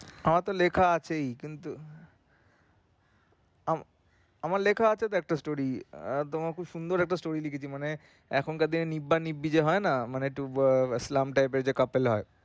আমার তো লেখা আছেই কিন্তু আ~ আমার লেখা চাহে তো একটা story একদম একটা সুন্দর একটা story লিখেছি মানে এখনকার দিনে নিব্বা নিব্বি যে হয়না মানে ইসলাম type এর যে couple হয়।